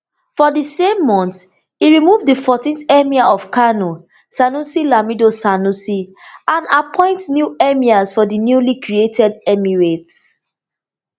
for di same month e remove di fourteenth emir of kano sanusi lamido sanusi and appoint new emirs for di newly created emirates